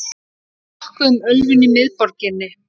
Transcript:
Nokkuð um ölvun í miðborginni